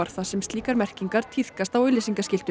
þar sem slíkar merkingar tíðkast á auglýsingaskiltum